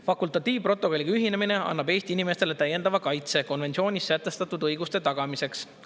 Fakultatiivprotokolliga ühinemine annab Eesti inimestele täiendava kaitse konventsioonis sätestatud õiguste tagamiseks.